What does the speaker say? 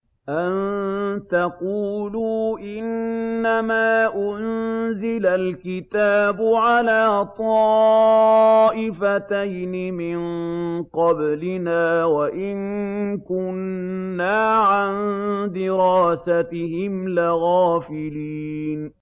أَن تَقُولُوا إِنَّمَا أُنزِلَ الْكِتَابُ عَلَىٰ طَائِفَتَيْنِ مِن قَبْلِنَا وَإِن كُنَّا عَن دِرَاسَتِهِمْ لَغَافِلِينَ